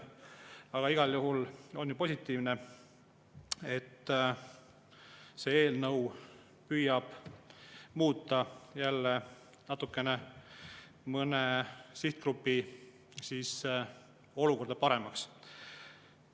Aga igal juhul on ju positiivne, et see eelnõu püüab muuta jälle natukene mõne sihtgrupi olukorda paremaks.